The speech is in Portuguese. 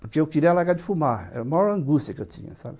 Porque eu queria largar de fumar, era a maior angústia que eu tinha, sabe